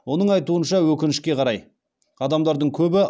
оның айтуынша өкінішке қарай адамдардың көбі